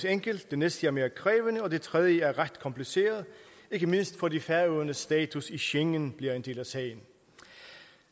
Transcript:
enkelt det næste er mere krævende og det tredje er ret kompliceret ikke mindst fordi færøernes status i schengen bliver en del af sagen